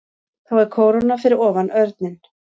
Þá er kóróna fyrir ofan örninn.